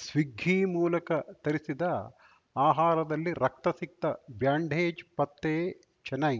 ಸ್ವಿಗ್ಗಿ ಮೂಲಕ ತರಿಸಿದ ಆಹಾರದಲ್ಲಿ ರಕ್ತಸಿಕ್ತ ಬ್ಯಾಂಡೇಜ್‌ ಪತ್ತೆ ಚೆನ್ನೈ